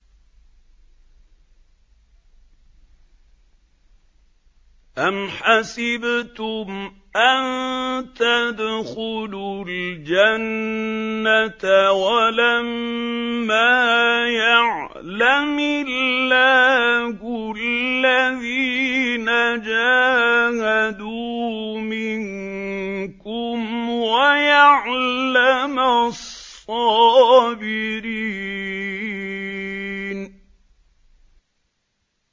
أَمْ حَسِبْتُمْ أَن تَدْخُلُوا الْجَنَّةَ وَلَمَّا يَعْلَمِ اللَّهُ الَّذِينَ جَاهَدُوا مِنكُمْ وَيَعْلَمَ الصَّابِرِينَ